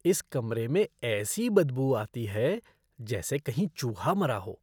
इस कमरे में ऐसी बदबू आती है जैसे कहीं चूहा मरा हो।